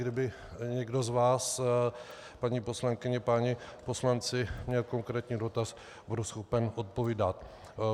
Kdyby někdo z vás, paní poslankyně, páni poslanci, měl konkrétní dotaz, budu schopen odpovídat.